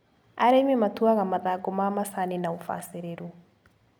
Arĩmi matuaga mathangũ ma macani na ũbacĩrĩru.